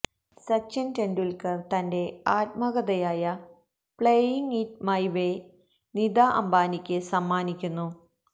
സച്ചിന് ടെണ്ടുല്ക്കര് തന്റെ ആത്മകഥയായ playing it my way Nita അംബാനിക്ക് സമ്മാനിക്കുന്നു